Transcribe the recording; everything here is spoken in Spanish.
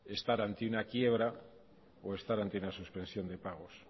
estar ante una quiebra o estar ante una suspensión de pagos